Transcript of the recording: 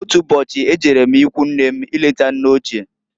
Otu ụbọchị, e jere m ikwunne m ileta nne ochie.